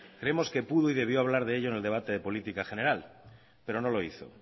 creemos que pudo y debió hablar de ello en el debate política general pero no lo hizo